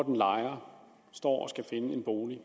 en lejer står og skal finde en bolig